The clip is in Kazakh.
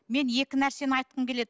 мен екі нәрсені айтқым келеді